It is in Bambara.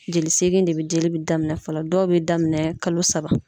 Jeli segin de bi dili be daminɛ fɔlɔ dɔw be daminɛ kalo saba